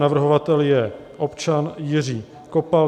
Navrhovatel je občan Jiří Kopal.